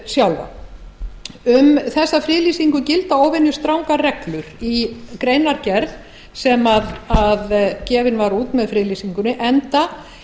sjálfa um þessa friðlýsingu gilda óvenjustrangar reglur í greinargerð sem gefin var út með friðlýsingunni enda